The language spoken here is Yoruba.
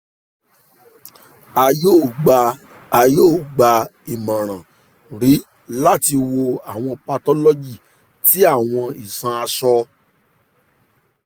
a yoo gba a yoo gba imọran mri lati wo awọn pathology ti awọn iṣan asọ